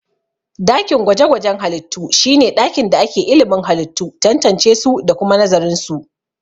Dakin gwaje-gwajen halittu shi ne ɗakin da ake ilimin halittu, tantancesu da kuma nazarinsu.